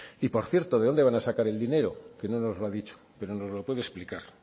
y por cierto de dónde van a sacar el dinero que no nos lo ha dicho pero nos lo puede explicar